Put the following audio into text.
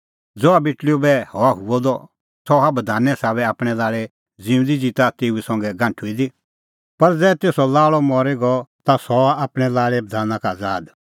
ज़हा बेटल़ीओ बैह हआ हुअ द सह हआ बधाने साबै आपणैं लाल़े ज़िऊंदी ज़िता तेऊ संघै गांठुई दी पर ज़ै तेसो लाल़अ मरी गअ ता सह हआ आपणैं लाल़े बधाना का आज़ाद